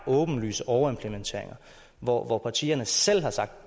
åbenlyse overimplementeringer hvor hvor partierne selv har sagt